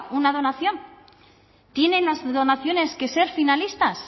una donación tienen las donaciones que ser finalistas